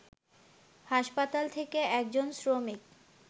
হাসপাতাল থেকে একজন শ্রমিক